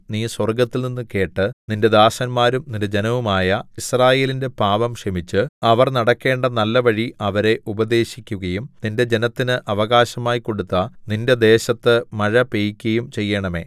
നീ സ്വർഗ്ഗത്തിൽനിന്ന് കേട്ട് നിന്റെ ദാസന്മാരും നിന്റെ ജനവുമായ യിസ്രായേലിന്റെ പാപം ക്ഷമിച്ച് അവർ നടക്കേണ്ട നല്ലവഴി അവരെ ഉപദേശിക്കുകയും നിന്റെ ജനത്തിന് അവകാശമായി കൊടുത്ത നിന്റെ ദേശത്ത് മഴ പെയ്യിക്കയും ചെയ്യേണമേ